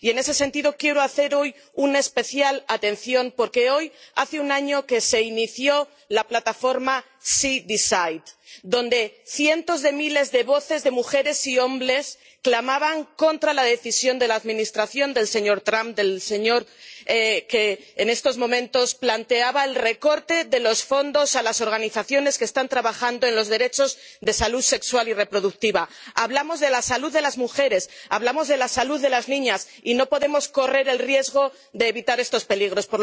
Y, en ese sentido, quiero recordar especialmente que hoy hace un año que se inició la plataforma SheDecides donde cientos de miles de voces de mujeres y hombres clamaban contra la decisión de la Administración del señor Trump que, en esos momentos, planteaba el recorte de los fondos a las organizaciones que están trabajando en los derechos de salud sexual y reproductiva. Hablamos de la salud de las mujeres, hablamos de la salud de las niñas y no podemos correr el riesgo de obviar estos peligros.